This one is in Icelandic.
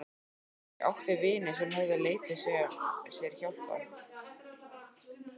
Ég átti vini sem höfðu leitað sér hjálpar.